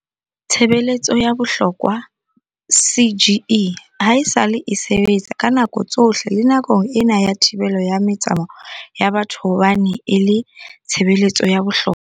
Tshebeletso ya bohlokwa CGE haesale e sebetsa ka nako tsohle le nakong ena ya thibelo ya metsamao ya batho hobane e le tshebe letso ya bohlokwa.